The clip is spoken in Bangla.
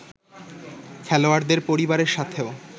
খেলোয়াড়দের পরিবারের সাথেও